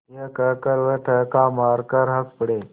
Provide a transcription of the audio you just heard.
यह कहकर वे ठहाका मारकर हँस पड़े